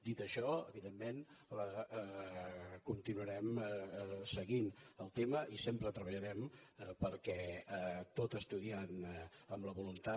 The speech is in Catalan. dit això evidentment continuarem seguint el tema i sempre treballarem perquè tot estudiant amb la voluntat